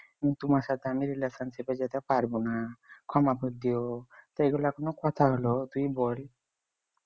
তোমার সাথে আমি relationship যেতে পারবো না ক্ষমা করে দিও তাই এগুলো কোন কথা হল তুই বল